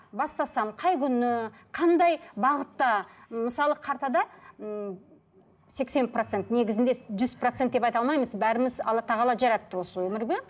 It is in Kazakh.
бастасам қай күні қандай бағытта мысалы картада м сексен процент негізінде жүз процент деп айта алмаймыз бәріміз алла тағала жаратты осы өмірге